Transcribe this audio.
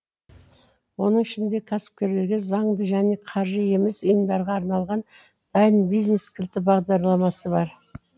оның ішінде кәсіпкерлерге заңды және қаржы емес ұйымдарға арналған дайын бизнес кілті бағдарламасы бар